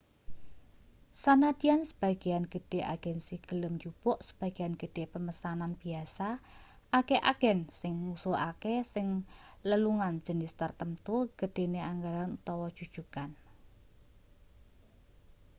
sanadyan sebagean gedhe agensi gelem njupuk sebagean gedhe pemesanan biasa akeh agen sing ngususake ing lelungan jinis tartamtu gedhene anggaran utawa jujugan